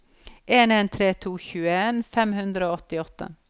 en en tre to tjueen fem hundre og tjueåtte